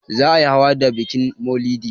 Za a yi hawa da bikin maulidi.